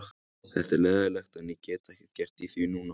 Þetta er leiðinlegt en ég get ekkert gert í því núna.